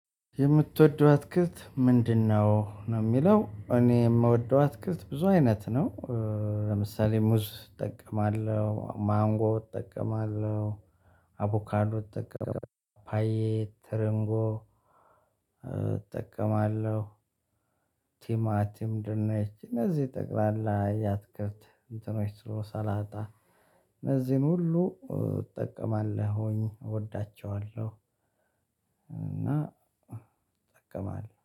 የምትወደው አትክልት ምንድነው ነው? የሚለው እኔ የምወደው አትክልት ብዙ አይነት ነው፤። ለምሳሌ ሙዝ እጠቀማለሁ ማንጎ እጠቀማለሁ አቮካርዶ እጠቀማለሁ ፓፓየ ተረንጎ እጠቀማለሁ። ቲማቲም ደንች እነዚህ ጠቅላላ ያትክልት እንትኖች ትሎ ሳላጣ እነዚህን ሁሉ እጠቀማለሁኝ እወዳቸዋለሁ። እና እጠቀማለሁ